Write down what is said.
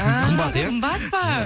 ііі қымбат па